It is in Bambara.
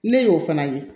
Ne y'o fana ye